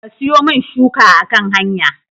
Ka siyomin shuka a kan hanya